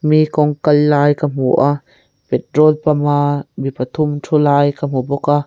mi kawng kal lai ka hmu a patrol pump a mi pathum thu lai ka hmu bawka.